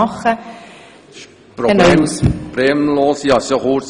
Regierungsrat Neuhaus, Sie haben das Wort.